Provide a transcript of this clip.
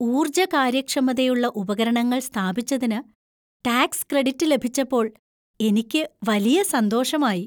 ഊർജ്ജ കാര്യക്ഷമതയുള്ള ഉപകരണങ്ങൾ സ്ഥാപിച്ചതിന് ടാക്സ് ക്രെഡിറ്റ് ലഭിച്ചപ്പോൾ എനിക്ക് വലിയ സന്തോഷമായി.